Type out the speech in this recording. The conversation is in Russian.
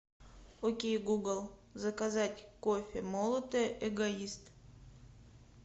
окей гугл заказать кофе молотый эгоист